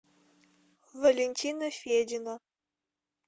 валентина федина